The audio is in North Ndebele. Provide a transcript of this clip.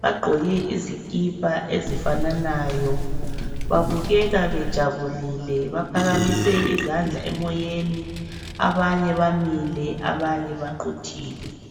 Bagqoke izikipa ezifananayo. Babukeka bejabulile, baphakamise izandla emoyeni. Abanye bamile, abanye baquthile.